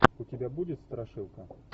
у тебя будет страшилка